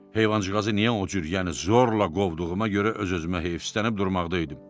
Heyvancığazı niyə o cür, yəni zorla qovduğuma görə öz-özümə heyfislənib durmaqda idim.